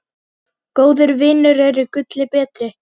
Góðir vinir eru gulli betri.